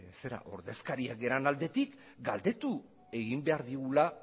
ordezkariak garen aldetik galdetu egin behar digula